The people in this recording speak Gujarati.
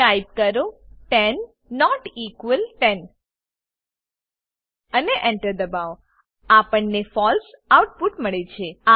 ટાઈપ કરો 10 નોટ ઇક્વલ 10 અને Enter દબાવો આપણને ફળસે ફોલ્સ આઉટપુટ મળે છે